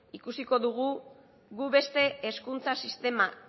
ikusiko dugu gu beste hezkuntza sistema